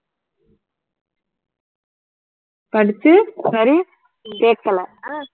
படிச்சு sorry கேட்கலை